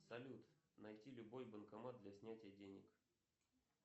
салют найти любой банкомат для снятия денег